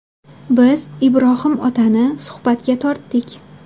Biz Ibrohim otani suhbatga tortdik.